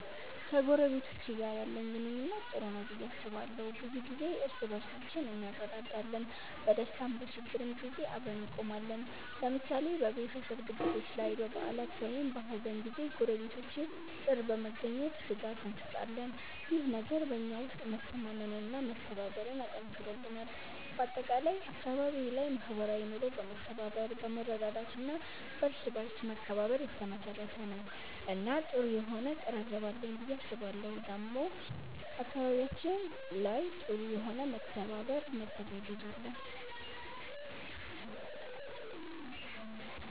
ከጎረቤቶቼ ጋር ያለኝ ግንኙነት ጥሩ ነው ብዬ አስባለሁ። ብዙ ጊዜ እርስ በርሳችን እንረዳዳለን፣ በደስታም በችግርም ጊዜ አብረን እንቆማለን። ለምሳሌ በቤተሰብ ድግሶች ላይ፣ በበዓላት ወይም በሀዘን ጊዜ ጎረቤቶቼ ጥር በመገኘት ድጋፍ እንሰጣጣለን። ይህ ነገር በእኛ ውስጥ መተማመንና መተባበርን አጠንክሮልናል። በአጠቃላይ አካባቢዬ ላይ ማህበራዊ ኑሮ በመተባበር፣ በመረዳዳት እና በእርስ በርስ መከባበር የተመሰረተ ነው እና ጥሩ የሆነ ቅርርብ አለኝ ብዬ አስባለሁ ዴሞ አካባቢያችን ላይ ጥሩ የሆነ መተባበር መተጋገዝ አለ።